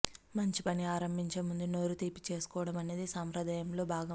మంచి పని ఆరంభించే ముందు నోరు తీపి చేసుకోవడమనేది సాంప్రదాయంలో భాగం